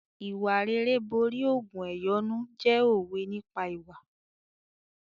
"Ìwà rere borí ògùn ẹ̀yọ́nú" jẹ́ òwe nípa ìwà.